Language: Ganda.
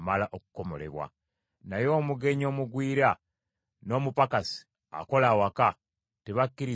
naye omugenyi omugwira, n’omupakasi akola awaka, tebakkirizibwa kugiryako.